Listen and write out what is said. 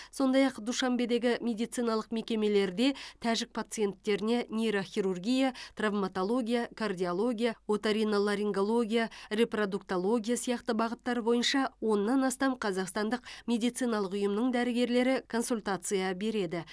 сондай ақ душанбедегі медициналық мекемелерде тәжік пациенттеріне нейрохирургия травматология кардиология оториноларингология репродуктология сияқты бағыттар бойынша оннан астам қазақстандық медициналық ұйымның дәрігерлері консультация береді